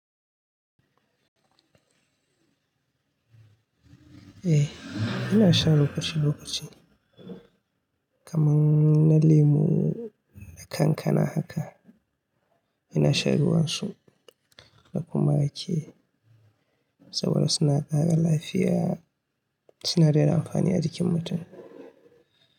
Eh, ina sha lokaci lokaci kamar na lemu da kankana haka. Ina shan ruwansu na kuma rage saboda suna ƙara lafiya. Sinadaran amfani a jikin mutum.